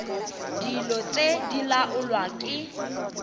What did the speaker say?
dilo tse di laolwa ke